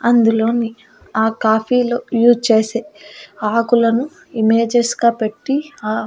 అందులోని ఆ కాఫీలో యూస్ చేసే ఆకులను ఇమేజెస్కా పెట్టీ ఆ--